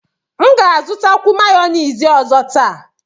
M ga-azụtakwu mayọniisi ọzọ taa.